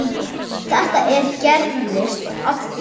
Þetta gerðist oft í viku.